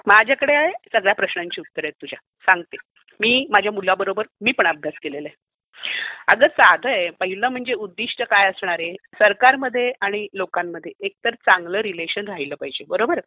माझ्याकडे सगळ्या प्रश्नांची उत्तरं आहेत तुझ्या. सांगते. माझ्या मुलाबरोबर मी पण अभ्यास केलेला आहे. अगं, साधं आहे. पहिलं म्हणजे उद्दिष्ट काय असणार आहे? सरकारमध्ये आणि लोकांमध्ये एकतर चांगलं रिलेशन राहीलं पाहिजे. बरोबर आहे?